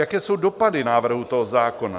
Jaké jsou dopady návrhu tohoto zákona?